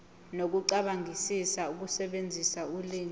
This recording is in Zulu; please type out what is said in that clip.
nokucabangisisa ukusebenzisa ulimi